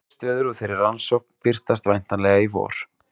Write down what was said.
Niðurstöður úr þeirri rannsókn birtast væntanlega í vor.